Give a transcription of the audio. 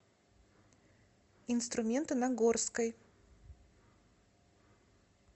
инструменты на горской